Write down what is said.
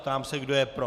Ptám se, kdo je pro.